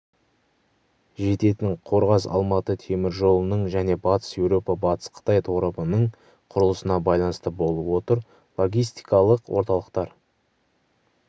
жететін қорғас-алматы теміржолының және батыс еуропа батыс қытай торабының құрылысына байланысты болып отыр логистикалық орталықтар